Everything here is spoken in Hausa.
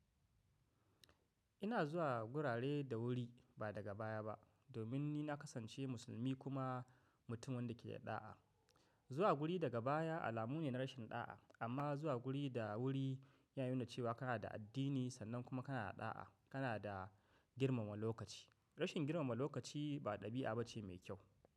Ina zuwa gurare da wuri ba daga baya ba domin ni na kasance musulmi kuma mutumin da ke da ɗa'a. Zuwa guri daga baya alamu ne na rashin ɗa'a amma zuwa guri da wuri ya nuna cewa kana da addini sannan kuma kana da ɗa'a, kana da girmama lokaci. Rashin girmama lokaci ba ɗabi'a bace mai kyau.